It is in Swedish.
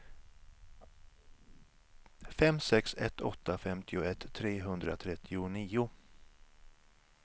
fem sex ett åtta femtioett trehundratrettionio